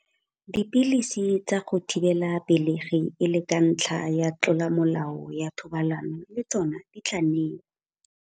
Dipilisi tsa go thibela pelegi e le ka ntlha ya tlolomolao ya thobalano le tsona di tla newa.